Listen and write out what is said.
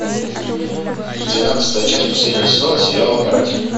двенадцатая часть последнего сезона сериала каратель